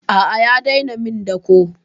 A'a ya daina min dako.